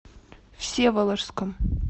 всеволожском